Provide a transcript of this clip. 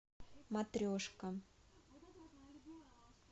матрешка